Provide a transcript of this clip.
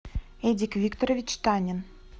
эдик викторович танин